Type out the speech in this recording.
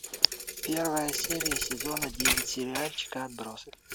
первая серия сезона девять сериальчика отбросы